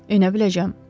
Enə biləcəm.